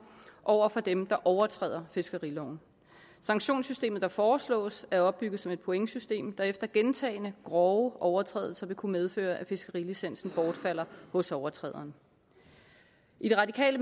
over for dem der overtræder fiskeriloven sanktionssystemet der foreslås er opbygget som pointsystem der efter gentagne grove overtrædelser vil kunne medføre at fiskerilicensen bortfalder hos overtræderen i det radikale